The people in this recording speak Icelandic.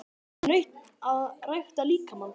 Er nautn að rækta líkamann?